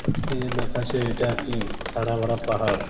এ দেখাচ্ছে এটা একটি হারা ভরা পাহাড়।